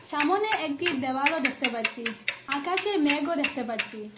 সামোনে একটি দেওয়ালও দেখতে পাচ্ছি আকাশে মেঘও দেখতে পাচ্ছি।